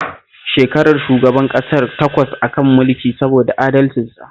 Shekarar shugaban ƙasar takwas a kan mulki saboda adalcinsa